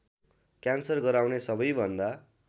cancer गराउने सबैभन्दा